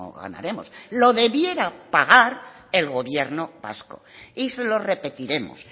ganaremos lo debiera pagar el gobierno vasco y se lo repetiremos